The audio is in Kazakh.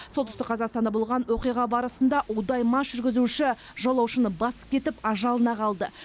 солтүстік қазақстанда болған оқиға барысында удай мас жүргізуші жолаушыны басып кетіп ажалына қалды